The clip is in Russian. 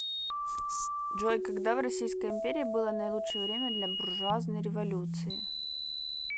джой когда в российской империи было наилучшее время для буржуазной революции